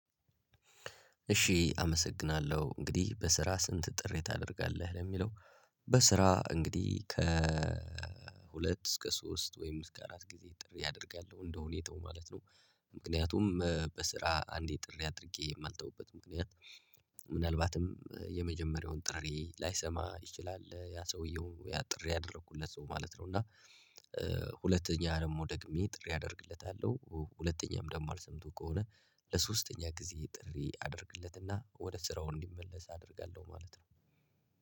እሺ አመሰግናለሁ እንግዲህ በስራ ስንት ጥሪ ታደርጋለህ ለሚለው? በስራ እንግዲህ ከሁለት እስከ ሶስት ወይም እስከ አራት ጊዜ ጥሪ አደርጋለሁ እንደ ሁኔታው ማለት ነው። ምክንያቱም በስራ አንዴ ጥሪ አድርጌ የማልተውበት ምክንያት። ምናልባትም የመጀመሪያውን ጥሪ ላይሰማ ይችላል ያ ሰውየው ያ ጥሪ ያደረኩለት ሰው ማለት ነው እና። ሁለተኛ ደግሞ ደግሜ ጥሪ አደርግለታለሁ ሁለተኛም ደግሞ አልሰምቶ ከሆነ። ለሶስተኛ ጊዜ ጥሪ አድርግለትና ወደ ስራው እንዲመለስ አደርጋለሁ ማለት ነው።